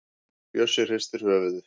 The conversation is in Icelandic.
Bjössi hristir höfuðið.